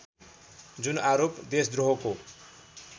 जुन आरोप देशद्रोहको